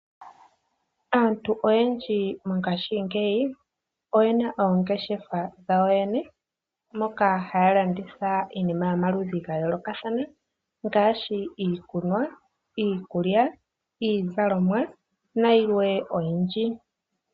Aantu oyendji mongaashingeyi oye na oongeshefa dhawo yene moka haya landitha iinima yomaludhi ga yoolokathana ngaashi iikunwa, iikulya, iizalomwa na yilwe oyindji.